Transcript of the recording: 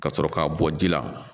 Ka sɔrɔ k'a bɔ ji la